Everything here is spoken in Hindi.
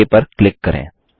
ओक पर क्लिक करें